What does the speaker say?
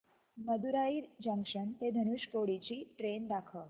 Madurai junction ते धनुषकोडी ची train दाखव